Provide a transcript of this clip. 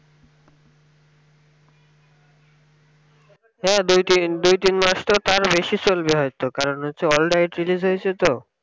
হ্যাঁ দুই তিন দুই তিন মাস তো তার বেশি চলবে হইত কারণ হচ্ছে world wide release হয়েছে তো